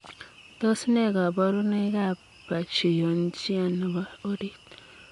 Tos nee kabarunoik ap pachyonychia nepoo oriit?